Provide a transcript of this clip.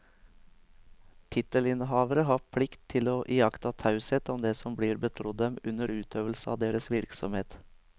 Tittelinnehavere har plikt til å iaktta taushet om det som blir betrodd dem under utøvelse av deres virksomhet.